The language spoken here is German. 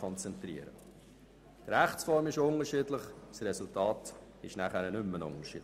Die Rechtsform ist zwar unterschiedlich, aber das Ergebnis nicht.